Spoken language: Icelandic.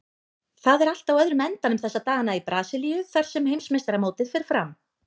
Það er allt á öðrum endanum þessa dagana í Brasilíu þar sem heimsmeistaramótið fer fram.